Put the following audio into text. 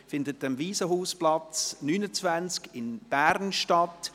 » Diese findet am Waisenhausplatz 29 in Bern statt.